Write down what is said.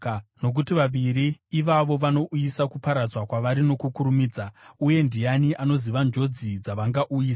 nokuti vaviri ivavo vanouyisa kuparadzwa kwavari nokukurumidza, uye ndiani anoziva njodzi dzavangauyisa?